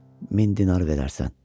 Min dinar verərsən.